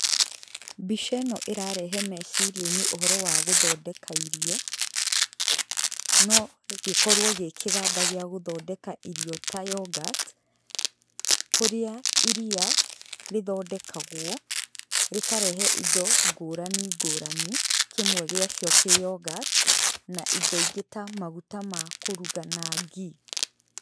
Mbica ĩno ĩrĩrehe meciria-inĩ ũhoro wa gũthondeka irio, no gĩkorwo gĩ kĩganda gĩa gũthondeka irio ta yoghurt kũrĩa iria rĩthondekagwo, rĩkarehe indo ngũrani ngũrani, kĩmwe gĩacio kĩ yoghurt na indo ingĩ ta maguta ma kũruga na ghee